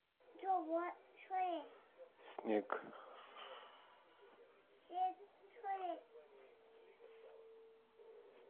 снег